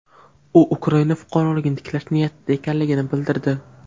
U Ukraina fuqaroligini tiklash niyatida ekanligini bildirdi.